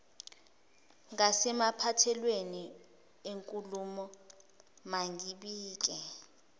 ngasemaphethelweni enkulumo mangibike